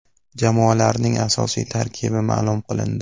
Jamoalarning asosiy tarkibi ma’lum qilindi.